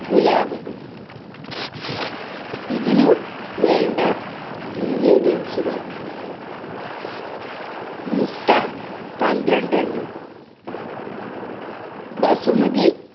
പുലാവ്. ഇതിനു വേണ്ട ingredients കള്‍ മുട്ട പന്ത്രണ്ടെണ്ണം, ബസുമതി